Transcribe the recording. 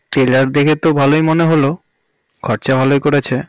trailer দেখে তো ভালোই মনে হল খরচা ভালোই করেছে